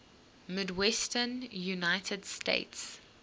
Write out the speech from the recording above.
midwestern united states